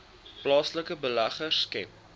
plaaslike beleggers skep